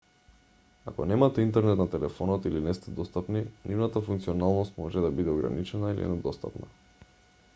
ако немате интернет на телефонот или не сте достапни нивната функционалност може да биде ограничена или недостапна